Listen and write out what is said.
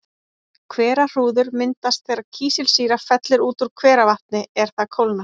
Hverahrúður myndast þegar kísilsýra fellur út úr hveravatni er það kólnar.